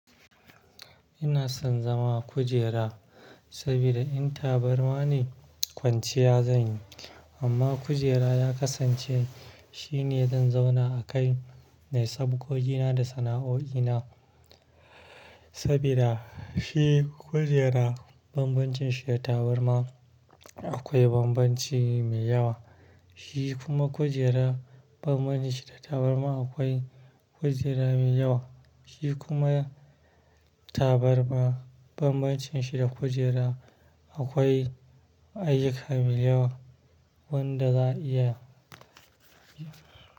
Ina son zama a kujera, sabida in tabarma ne, kwanciya zan yi. Amma kujera ya kasance, shine zan zauna a kai nayi sabgogi na da sana'o'ina. Sabida, shi kujera bambancin shi da tabarma akwai bambanci mai yawa. Shi kuma kujera, bambancin shi da tabarma akwai kujera mai yawa. Shi kuma, tabarma bambancin shi da kujera, akwai ayuka mai yawa wanda za'a iya.